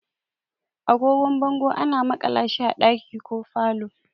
Agogon bango ana makala shi a ɗaki ko falo.